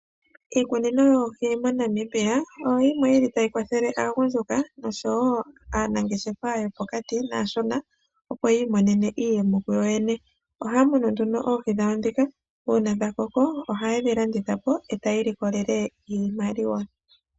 Iikunino yoohi moNamibia oyo yimwe yili tayi kwathele aagundjuka nosho woo aanangeshefa yopokati naashona opo yi imonene iiyemo kuyo yene . Ohaya munu nduno oohi dhawo ndhika uuna dhakoko ohaye dhi landithapo etaya ilikolelemo iimaliwa.